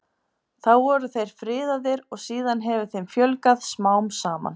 Þá voru þeir friðaðir og síðan hefur þeim fjölgað smám saman.